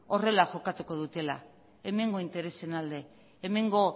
horrela jokatuko dutela hemengo interesen alde hemengo